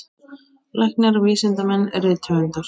Læknar, vísindamenn, rithöfundar.